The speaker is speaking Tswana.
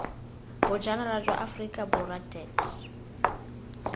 bojanala jwa aforika borwa deat